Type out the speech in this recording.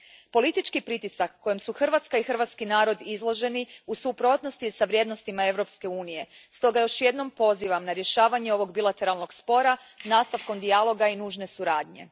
Politički pritisak kojem su Hrvatska i hrvatski narod izloženi u suprotnosti je s vrijednostima Europske Unije, stoga još jednom pozivam na rješavanje ovog bilateralnog spora nastavkom dijaloga i nužne suradnje.